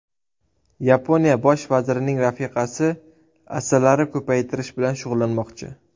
Yaponiya bosh vazirining rafiqasi asalari ko‘paytirish bilan shug‘ullanmoqchi.